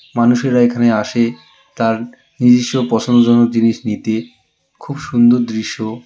মানুষেরা এখানে আসে তার নিজস্ব পছন্দজনক জিনিস নিতে খুব সুন্দর দৃশ্য.